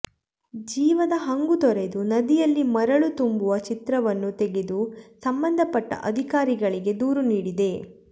ಜೀವದ ಹಂಗು ತೊರೆದು ನದಿಯಲ್ಲಿ ಮರಳು ತುಂಬುವ ಚಿತ್ರವನ್ನು ತೆಗೆದು ಸಂಬಂಧಪಟ್ಟ ಅಧಿಕಾರಿಗಳಿಗೆ ದೂರು ನೀಡಿದೆ